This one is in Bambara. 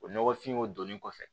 O nɔgɔfinw donni kɔfɛ